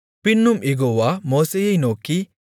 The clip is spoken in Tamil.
பின்னும் யெகோவா மோசேயை நோக்கி